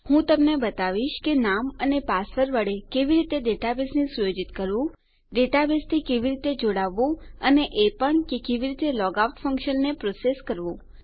હું તમને બતાવીશ કે નામ અને પાસવર્ડ વડે કેવી રીતે ડેટાબેઝને સુયોજિત કરવું ડેટાબેઝથી કેવી રીતે જોડાવવું અને એ પણ કે કેવી રીતે લોગઆઉટ ફંક્શનને પ્રોસેસ કરવું